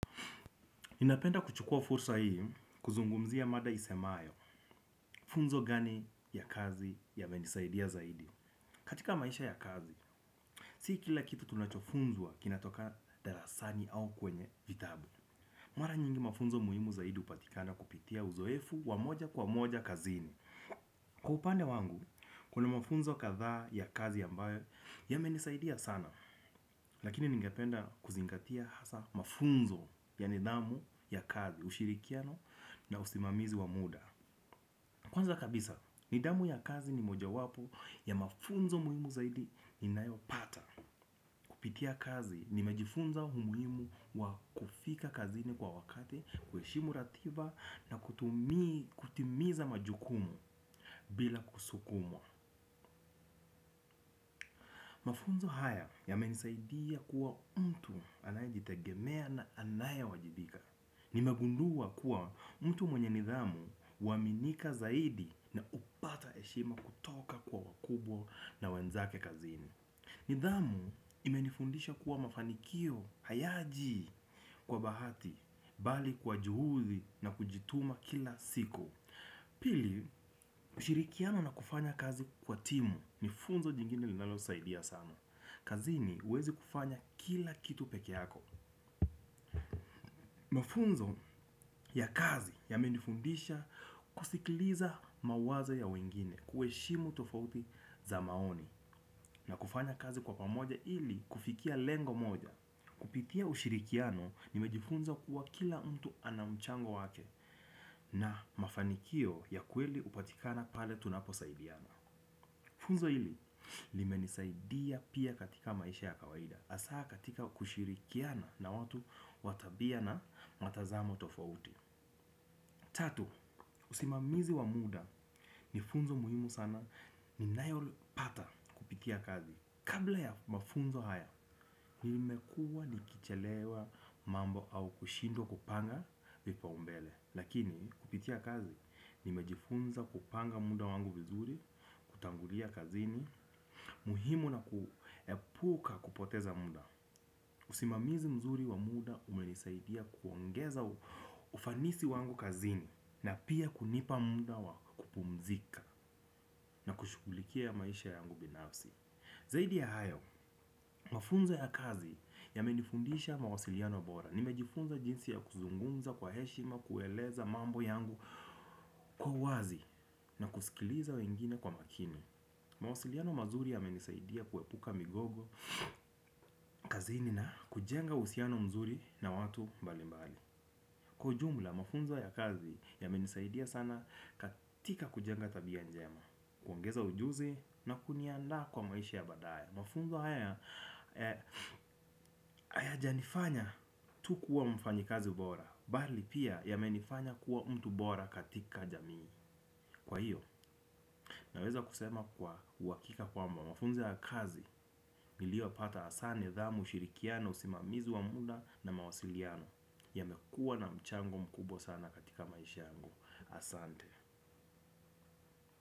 Ninapenda kuchukua fursa hii kuzungumzia mada isemayo funzo gani ya kazi yamenisaidia zaidi. Katika maisha ya kazi, si kila kitu tunachofunzwa kinatoka darasani au kwenye vitabu. Mara nyingi mafunzo muhimu zaidi hupatikana kupitia uzoefu wa moja kwa moja kazini. Kwa upande wangu, kuna mafunzo kadhaa ya kazi ambayo yamenisaidia sana. Lakini ningependa kuzingatia hasa mafunzo ya nidhamu ya kazi. Ushirikiano na usimamizi wa muda. Kwanza kabisa, nidhamu ya kazi ni mojawapo ya mafunzo muhimu zaidi ninayopata. Kupitia kazi nimejifunza umuhimu wa kufika kazini kwa wakati. Kuheshimu ratiba na kutimiza majukumu bila kusukumwa. Mafunzo haya yamenisaidia kuwa mtu anayejitegemea na anayewajibika. Nimegundua kuwa mtu mwenye nidhamu huaminika zaidi na hupatah eshima kutoka kwa wakubwa na wenzake kazini. Nidhamu imenifundisha kuwa mafanikio hayaji kwa bahati bali kwa juhudi na kujituma kila siku. Pili, ushirikiano na kufanya kazi kwa timu. Ni funzo jingine linalosaidia sana. Kazini huwezi kufanya kila kitu peke yako. Mafunzo ya kazi yamenifundisha kusikiliza mawazo ya wengine kuheshimu tofauti za maoni na kufanya kazi kwa pamoja ili kufikia lengo moja. Kupitia ushirikiano nimejifunza kuwa kila mtu ana mchango wake na mafanikio ya kweli hupatikana pale tunaposaidiana. Funzo hili limenisaidia pia katika maisha ya kawaida hasa katika kushirikiana na watu wa tabia na matazamo tofauti. Tatu, usimamizi wa muda ni funzo muhimu sana ninayopata kupitia kazi. Kabla ya mafunzo haya, nimekua nikichelewa mambo au kushindwa kupanga vipaumbele. Lakini kupitia kazi, nimejifunza kupanga muda wangu vizuri, kutangulia kazini. Muhimu na kuepuka kupoteza muda. Usimamizi mzuri wa muda umenisaidia kuongeza ufanisi wangu kazini na pia kunipa muda wa kupumzika na kushughulikia maisha yangu binafsi. Zaidi ya hayo, mafunzo ya kazi yamenifundisha mawasiliano bora. Nimejifunza jinsi ya kuzungumza kwa heshima, kueleza mambo yangu kwa uwazi na kusikiliza wengine kwa makini. Mawasiliano mazuri yamenisaidia kuepuka migogo kazini na kujenga uhusiano mzuri na watu mbali mbali. Kwa ujumla mafunzo ya kazi yamenisaidia sana katika kujenga tabia njema. Kuongeza ujuzi na kuniandaa kwa maisha ya badaye. Mafunzo haya hayajanifanya tu kuwa mfanyikazi bora bali pia yamenifanya kuwa mtu bora katika jamii. Kwa hiyo naweza kusema kwa uhakika kwamba mafunzo ya kazi, niliopata hasa nidhamu ushirikiano, usimamizi wa muda na mawasiliano yamekua na mchango mkubwa sana katika maisha yangu. Asante.